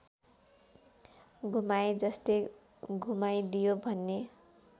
घुमाएजस्तै घुमाइदियो भन्ने